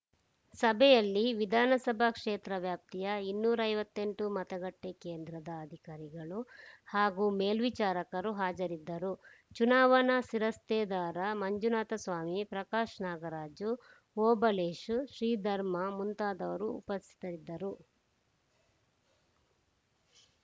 ಸಭೆಯಲ್ಲಿ ವಿಧಾನಸಭಾ ಕ್ಷೇತ್ರ ವ್ಯಾಪ್ತಿಯ ಇನ್ನೂರ ಐವತ್ತ್ ಎಂಟು ಮತಗಟ್ಟೆಕೇಂದ್ರದ ಅಧಿಕಾರಿಗಳು ಹಾಗೂ ಮೇಲ್ವಿಚಾರಕರು ಹಾಜರಿದ್ದರು ಚುನಾವಣಾ ಶಿರಸ್ತೇದಾರ ಮಂಜುನಾಥಸ್ವಾಮಿ ಪ್ರಕಾಶ್‌ ನಾಗರಾಜು ಓಬಳೇಶ್‌ ಶ್ರೀಧರ್‌ ಮುಂತಾದವರು ಉಪಸ್ಥಿತರಿದ್ದರು